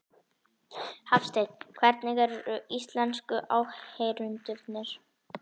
Hafsteinn: Hvernig eru íslensku áheyrendurnir?